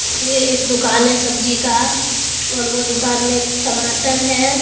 ये एक दुकान है सब्जी का और वो दुकान में टमाटर है।